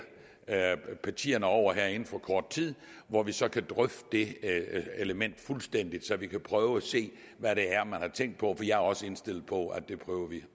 partierne over her inden for kort tid hvor vi så kan drøfte det element fuldstændig så vi kan prøve at se hvad det er man har tænkt på jeg er også indstillet på at vi prøver